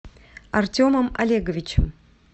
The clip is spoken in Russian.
артемом олеговичем